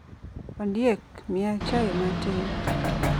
Ondiek, miya chai matin.